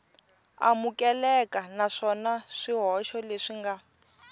amukeleka naswona swihoxo leswi nga